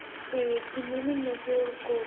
ਤੇ ਕਿੰਨੇ ਮਹੀਨੇ ਚ ਕੋਰਸ